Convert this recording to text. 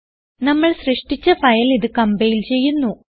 നമ്മൾ സൃഷ്ടിച്ച ഫയൽ ഇത് കംപൈൽ ചെയ്യുന്നു